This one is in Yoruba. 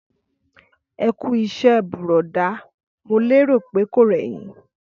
Ẹkú iṣẹ burọda, mo lérò pé kò rẹ yin.